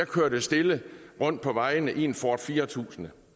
kørte stille rundt på vejene i en ford fire tusind